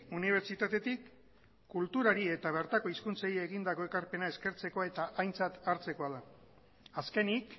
unibertsitatetik kulturari eta bertako hizkuntzei egindako ekarpena eskertzeko eta aintzat hartzekoa da azkenik